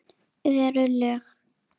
Eru lög.